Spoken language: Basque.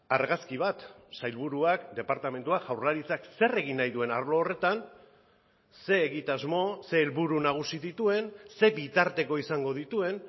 argazki bat sailburuak departamentua jaurlaritzak zer egin nahi duen arlo horretan ze egitasmo ze helburu nagusi dituen ze bitarteko izango dituen